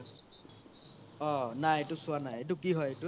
অহ নাই এইতো চোৱা নাই এইতো কি হয় এইতো